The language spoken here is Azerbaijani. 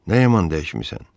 Nə yaman dəyişmisən?